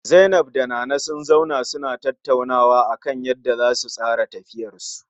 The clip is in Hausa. Zainab da Nana sun zauna suna tattaunawa akan yanda zasu tsara tafiyarsu